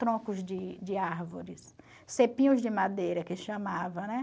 troncos de de árvores, cepinhos de madeira, que chamava, né?